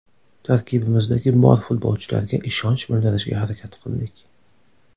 Tarkibimizdagi bor futbolchilarga ishonch bildirishga harakat qildik.